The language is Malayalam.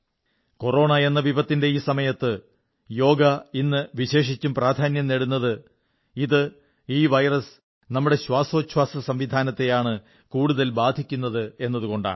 കൊറോണയെന്ന വിപത്തിന്റെ ഈ സമയത്ത് യോഗ ഇന്ന് വിശേഷിച്ചും പ്രാധാന്യം നേടുന്നത് ഇത് ഈ വൈറസ് നമ്മുടെ ശ്വാസോച്ഛ്വാസസംവിധാനത്തെയാണ് കൂടുതൽ ബാധിക്കുന്നത് എന്നതുകൊണ്ടാണ്